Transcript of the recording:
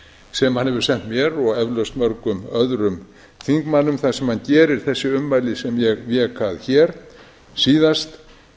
sem hann hefur sent mér og eflaust mörgum öðrum þingmönnum þar sem hann gerir þessi ummæli sem ég vék að hér síðast